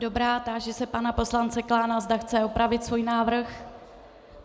Dobrá, táži se pana poslance Klána, zda chce opravit svůj návrh.